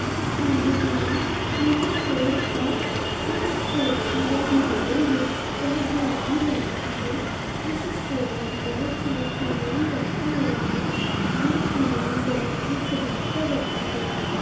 Image में एक store है इस स्टोर की जो दीवारे है वेह गुलाबी रंग की है इस में स्टोर बहुत ही सारा सामान रखा हुआ ये सामान बहुत ही सजा कर रखा गया।